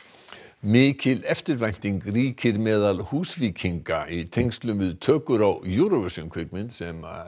mikil eftirvænting ríkir meðal Húsvíkinga í tengslum við tökur á Eurovision kvikmynd sem